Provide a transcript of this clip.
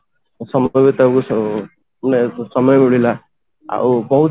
ସମୟ ବିତେଇବାକୁ ମାନେ ସମୟ ମିଳିଲା ଆଉ